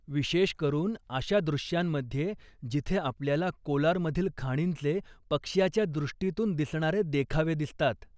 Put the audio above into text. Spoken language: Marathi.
विशेषकरून अशा दृश्यांमध्ये जिथे आपल्याला कोलारमधील खाणींचे पक्षाच्या दृष्टीतून दिसणारे देखावे दिसतात.